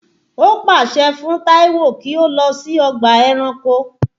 Ó pààsẹ fún Taiwo kí ó lọ sí ọgbà ẹranko